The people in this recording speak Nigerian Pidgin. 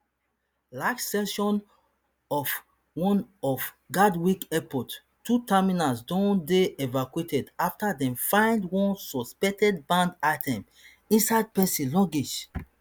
large section of one of gatwick airport two terminals don dey evacuated after dem find one suspected banned item inside pesin luggage